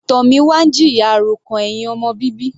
Tomina ń jìyà àròkàn ẹ̀hìn ọmọ bíbí.